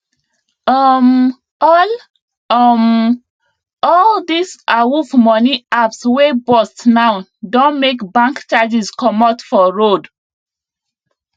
um all um all these awuf money apps wey burst now don make bank charges comot for road